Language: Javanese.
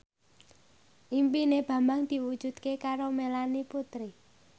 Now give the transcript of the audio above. impine Bambang diwujudke karo Melanie Putri